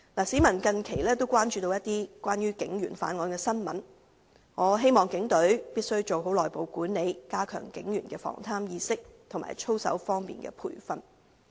市民近期亦關注有關警員犯案的新聞，我希望警隊必須做好內部管理，加強警員的防貪意識及操守的培訓。